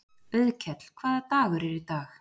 Auðkell, hvaða dagur er í dag?